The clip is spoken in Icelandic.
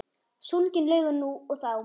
Sungin lögin nú og þá.